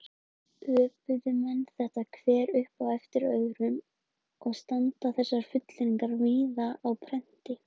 Öpuðu menn þetta hver upp eftir öðrum og standa þessar fullyrðingar víða á prenti.